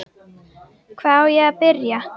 Hvar á ég að byrja!